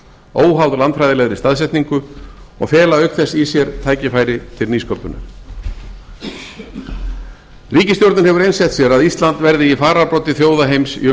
óháð landfræðilegri staðsetningu og fela auk þess í sér tækifæri til nýsköpunar ríkisstjórnin hefur einsett sér að ísland verði í fararbroddi þjóða heims í